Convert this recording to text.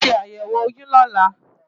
Wàá ṣe àyẹ̀wò oyún lọ́la!